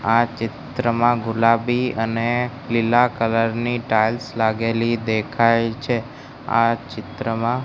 આ ચિત્રમાં ગુલાબી અને લીલા કલર ની ટાઇલ્સ લાગેલી દેખાય છે આ ચિત્રમાં --